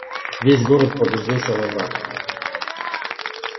весь город погрузился во мрак